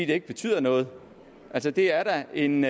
det ikke betyder noget altså det er da en